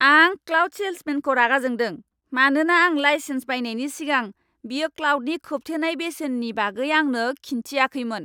आं क्लाउड सेल्समेनखौ रागा जोंदों, मानोना आं लाइसेन्स बायनायनि सिगां बियो क्लाउडनि खोबथेनाय बेसेननि बागै आंनो खिन्थियाखैमोन।